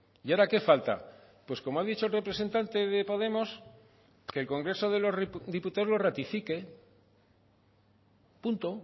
y ahora qué falta pues como ha dicho el representante de podemos que el congreso de los diputados lo ratifique punto